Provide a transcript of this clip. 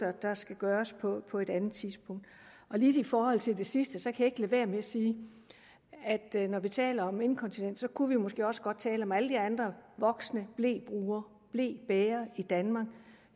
der skal gøres på på et andet tidspunkt lidt i forhold til det sidste kan jeg ikke lade være med at sige at når vi taler om inkontinens kunne vi måske også godt tale om alle de andre voksne blebrugere blebærere i danmark